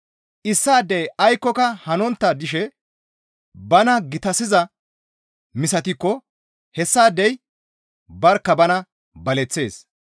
Issaadey aykkoka hanontta dishe bana gitasizaa misatikko hessaadey barkka bana baleththees.